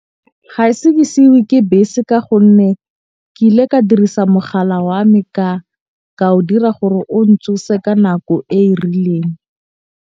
Ga e se ke seiwe ke bese. Ka gonne ke ile ka dirisa mogala wa me ka o dira gore o ntsose ka nako e e rileng.